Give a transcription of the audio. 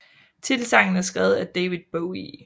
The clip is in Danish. Titelsangen er skrevet af David Bowie